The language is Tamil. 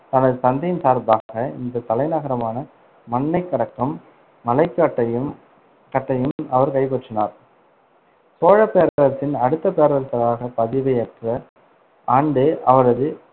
தனது தந்தையின் சார்பாக இந்த தலைநகரான மன்னைக்கடக்கம் மலைக்கட்டையும்~ கட்டையும் அவர் கைப்பற்றினார். சோழப் பேரரசின் அடுத்த பேரரசராகப் பதவியேற்ற ஆண்டே, அவரது